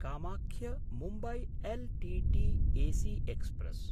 कामाख्य–मुम्बय् L T T AC express